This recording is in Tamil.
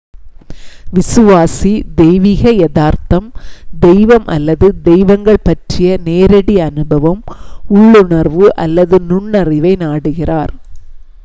விசுவாசி தெய்வீக யதார்த்தம்/தெய்வம் அல்லது தெய்வங்கள் பற்றிய நேரடி அனுபவம் உள்ளுணர்வு அல்லது நுண்ணறிவை நாடுகிறார்